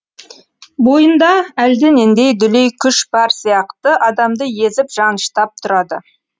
бойында әлденендей дүлей күш бар сияқты адамды езіп жаныштап тұрады